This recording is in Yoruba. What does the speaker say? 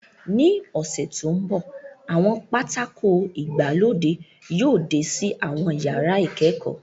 Ní ọ̀sẹ̀ tó ń bọ̀, àwọn pátákó ìgbàlódé yóò dé sí àwọn yàrá ìkẹ́kọ̀ọ́